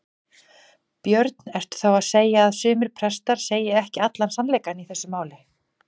Björn: Ertu þá að segja að sumir prestar segir ekki allan sannleikann í þessu máli?